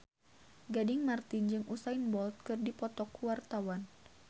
Gading Marten jeung Usain Bolt keur dipoto ku wartawan